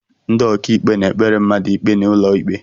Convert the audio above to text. Ndị ọkàikpe na-ekpere mmadụ ikpe n'ụlọikpe